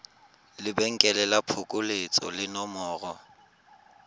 lebenkele la phokoletso le nomoro